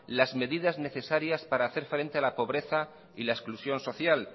las medidas necesarias para hacer frente a la pobreza y la exclusión social